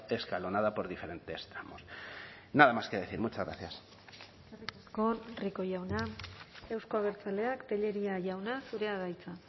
escalonada por diferentes tramos nada más que decir muchas gracias eskerrik asko rico jauna euzko abertzaleak tellería jauna zurea da hitza